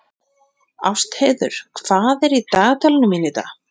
Ástheiður, hvað er í dagatalinu mínu í dag?